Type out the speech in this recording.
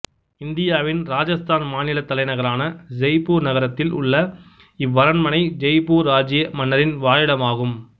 இந்தியாவின் இராஜஸ்தான் மாநிலத்தலைநகரான செய்ப்பூர் நகரத்தில் உள்ள இவ்வரண்மனை ஜெய்ப்பூர் இராச்சிய மன்னரின் வாழிடமாகும்